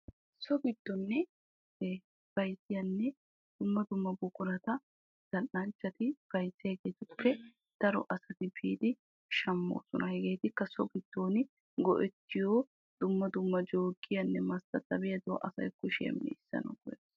So giddon bayzziya dumma dumma buquratta bayzziyagettuppe asay biiddi shammoosonna hegaakka asay meecetanawunne harabawu go'ettosonna.